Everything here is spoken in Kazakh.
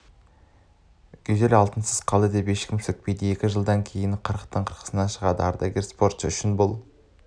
гюзельді алтынсыз қалды деп ешкім сөкпейді екі жылдан кейін қырықтың қырқасына шығатын ардагер спортшы үшін бұл